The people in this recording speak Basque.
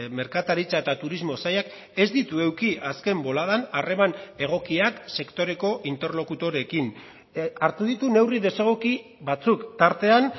merkataritza eta turismo sailak ez ditu eduki azken boladan harreman egokiak sektoreko interlokutoreekin hartu ditu neurri desegoki batzuk tartean